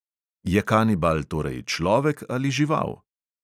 Je kanibal torej človek ali žival?